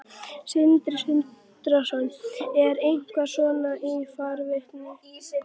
Sindri Sindrason: Er eitthvað svona í farvatninu?